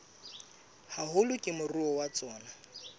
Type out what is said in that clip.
haholo ke moruo wa tsona